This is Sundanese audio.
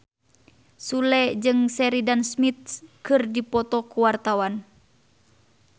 Sule jeung Sheridan Smith keur dipoto ku wartawan